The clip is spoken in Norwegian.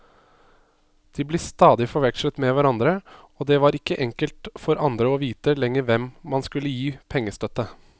De ble stadig forvekslet med hverandre, og det var ikke enkelt for andre å vite lenger hvem man skulle gi pengestøtte.